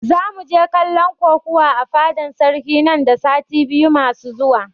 Zamu je kallon kokuwa a fadan sarki nan da sati biyu masu zuwa